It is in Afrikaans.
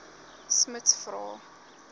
smuts vra